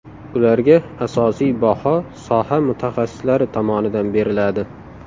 Ularga asosiy baho soha mutaxassislari tomonidan beriladi.